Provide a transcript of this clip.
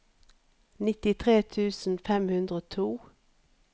nittitre tusen fem hundre og to